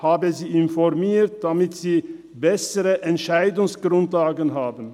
Ich habe sie informiert, damit sie bessere Entscheidungsgrundlagen haben.